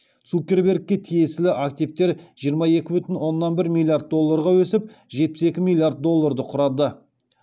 цукербергке тиесілі активтер жиырма екі бүтін оннан бір миллиард долларға өсіп жетпіс екі миллиард долларды құрады